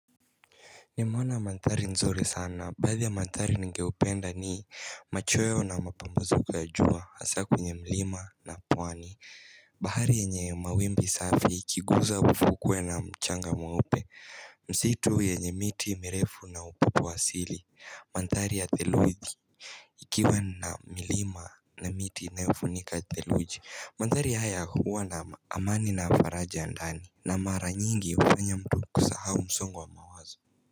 Nimeona manthari nzuri sana. Baadhi ya manthari nigeupenda ni machoyo na mapumuziko ya jua. Asa kwenye mlima na pwani. Bahari yenye mawimbi safi ikiguza ufukwe na mchanga mweupe. Msitu yenye miti mirefu na upepo wa asili. Manthari ya theluidi. Ikiwa na milima na miti inayofunika theluji. Manthari haya huwa na amani na faraja ya ndani. Na mara nyingi ufanya mtu kusahau msongo wa mawazo.